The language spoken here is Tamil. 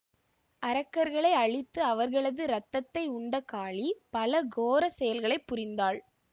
அரக்கர்களை அழித்து அவர்களது ரத்தத்தை உண்ட காளி பல கோர செயல்களை புரிந்தாள்